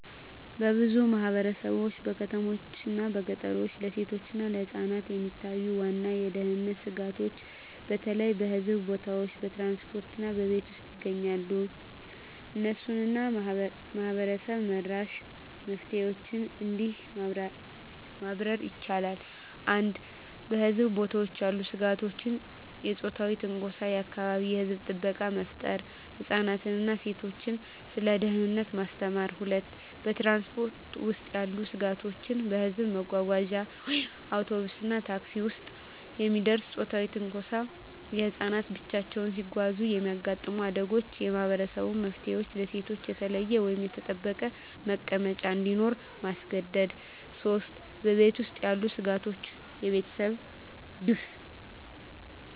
በብዙ ማህበረሰቦች (በከተሞችና በገጠር) ለሴቶችና ለህፃናት የሚታዩ ዋና የደህንነት ስጋቶች በተለይ በህዝብ ቦታዎች፣ በትራንስፖርት እና በቤት ውስጥ ይገኛሉ። እነሱን እና ማህበረሰብ-መራሽ መፍትሄዎችን እንዲህ ማብራር ይቻላል፦ 1. በህዝብ ቦታዎች ያሉ ስጋቶች የጾታዊ ትንኮሳ የአካባቢ የህዝብ ጥበቃ መፍጠር ህፃናትን እና ሴቶችን ስለ ደህንነት ማስተማር 2. በትራንስፖርት ውስጥ ያሉ ስጋቶች በህዝብ መጓጓዣ (አውቶቡስ፣ ታክሲ) ውስጥ የሚደርስ ጾታዊ ትንኮሳ ህፃናት ብቻቸውን ሲጓዙ የሚያጋጥሙ አደጋዎች የማህበረሰብ መፍትሄዎች ለሴቶች የተለየ ወይም የተጠበቀ መቀመጫ እንዲኖር ማስገደድ 3. በቤት ውስጥ ያሉ ስጋቶች የቤተሰብ ግፍ